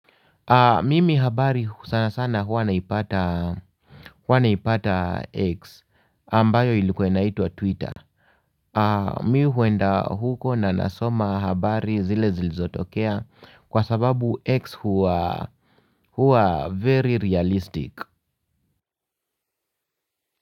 Mimi habari sana sana huwa naipata X ambayo ilikuwa inaitwa Twitter. Mi huenda huko na nasoma habari zile zilizotokea kwa sababu X huwa huwa very realistic.